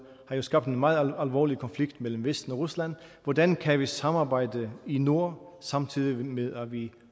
har jo skabt en meget alvorlig konflikt mellem vesten og rusland hvordan kan vi samarbejde i nord samtidig med at vi